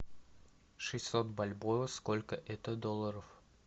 шестьсот бальбоа сколько это долларов